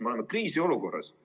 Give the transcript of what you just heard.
Me oleme kriisiolukorras.